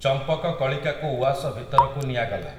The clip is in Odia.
ଚମ୍ପକକଳିକାକୁ ଉଆସ ଭିତରକୁ ନିଆଗଲା ।